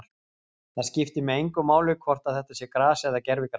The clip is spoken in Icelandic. Það skiptir mig engu máli hvort að þetta sé gras eða gervigras.